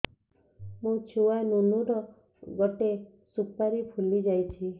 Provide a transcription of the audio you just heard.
ମୋ ଛୁଆ ନୁନୁ ର ଗଟେ ସୁପାରୀ ଫୁଲି ଯାଇଛି